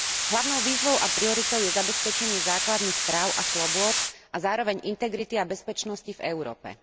Hlavnou výzvou a prioritou je zabezpečenie základných práv a slobôd a zároveň integrity a bezpečnosti v Európe.